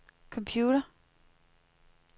computer